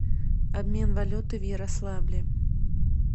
обмен валюты в ярославле